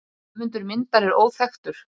Höfundur myndar er óþekktur.